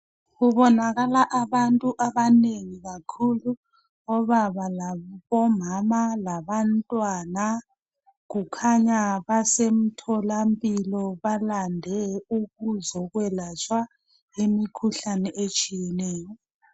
Kubonakala abantu abanengi kakhulu obaba labomama labantwana kukhanya basemtholampilo balande ukuzokwelatshwa imikhuhlane etshiyeneyo